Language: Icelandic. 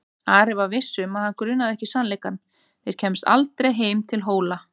Ari var viss um að hann grunaði ekki sannleikann: þeir kæmust aldrei heim til Hóla.